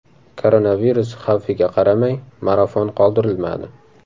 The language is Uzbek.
Koronavirus xavfiga qaramay, marafon qoldirilmadi.